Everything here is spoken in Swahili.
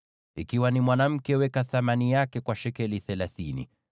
ikiwa ni mwanamke, weka thamani yake kwa shekeli thelathini.